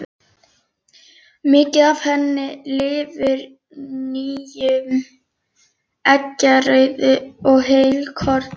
Mikið er af henni í lifur, nýrum, eggjarauðu og heilkorni.